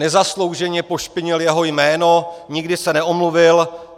Nezaslouženě pošpinil jeho jméno, nikdy se neomluvil.